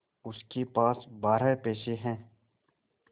उसके पास बारह पैसे हैं